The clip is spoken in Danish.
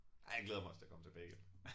Ej jeg glæder mig også til at komme tilbage igen